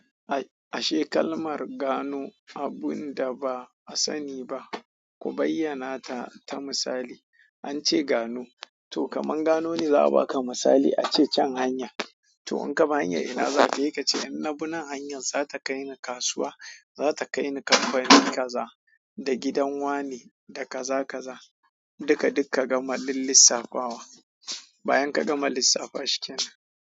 Ashe kalmar gano abunda ba'a sani ba ku bayyana ta misali. An ce gano, to kaman gano ne za a baka misali a ce can hanya. To in ka bi hanyan ina zaka heka ce in na bi nan hanyar za ta kai ni kasuwa, za ta kai ni kamfani kaza da gidan wane da kaza kaza. Duka duk ka gama lil lissafawa, bayan ka gama lissafa shikenan.